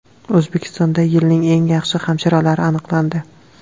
O‘zbekistonda yilning eng yaxshi hamshiralari aniqlandi.